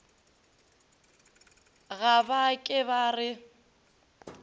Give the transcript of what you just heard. ga ba ke ba re